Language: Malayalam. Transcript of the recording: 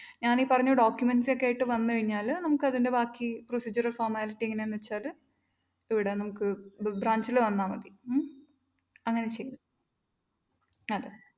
ഞാനീ പറഞ്ഞ documents ഒക്കെയായിട്ട് വന്നു കഴിഞ്ഞാല് നമുക്കതിന്റെ ബാക്കി formalities procedure ഒക്കെ എങ്ങനെയാന്നുവെച്ചാല്‍ അത് ഇവിടെ നമുക്ക് branch ല് വന്നാല്‍ മതി. ഉം അങ്ങനെ ചെയ്തോ. അതെ.